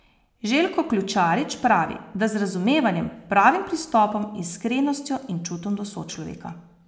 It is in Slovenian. Željko Ključarič pravi, da z razumevanjem, pravim pristopom, iskrenostjo in čutom do sočloveka.